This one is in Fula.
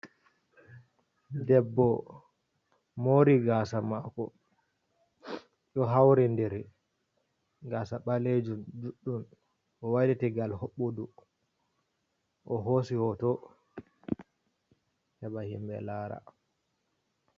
Debbo mori gasa mako do hauri diri. Gasa balejum, judɗum o wailiti ngal hobbudu, o hosi hoto heba himbe lara.